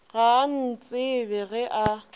ga a ntsebe ge a